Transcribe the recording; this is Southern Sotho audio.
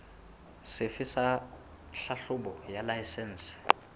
sefe sa tlhahlobo ya laesense